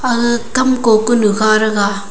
ah kamko kunu kha rega.